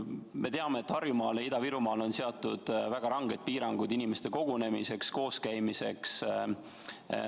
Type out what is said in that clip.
Me teame, et Harjumaale ja Ida-Virumaale on seatud väga ranged piirangud inimeste kogunemiseks, kooskäimiseks.